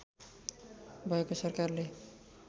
भएको सरकारले